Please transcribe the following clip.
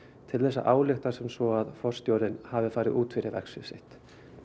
til þess að álykta sem svo að forstjórinn hafi farið út fyrir verksvið sitt